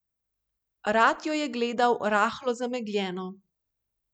Rad jo je gledal rahlo zamegljeno.